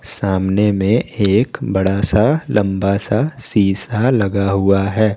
सामने में एक बड़ा सा लंबा सा शीशा लगा हुआ है।